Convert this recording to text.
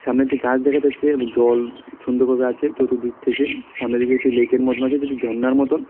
সামনে একটি গাছ দেখা যাচ্ছে এবং জল সুন্দর ভাবে আছে চতুর্দিকে থেকে সামনের দিক থেকে একটি লেইক এর মতন আছে যেটি ঝর্নার মতন।